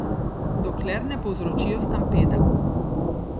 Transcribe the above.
Dokler ne povzročijo stampeda.